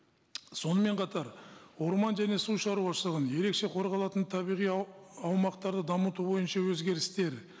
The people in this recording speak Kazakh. сонымен қатар орман және су шаруашылығын ерекше қорғалатын табиғи аумақтарды дамыту бойынша өзгерістер